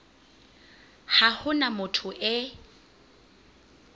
ha ho na motho e